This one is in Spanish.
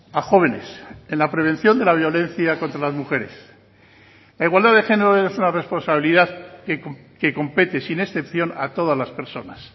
a jóvenes en la prevención de la violencia contra las mujeres la igualdad de género es una responsabilidad que compete sin excepción a todas las personas